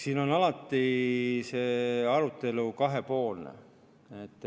Siin on alati see arutelu kahepoolne.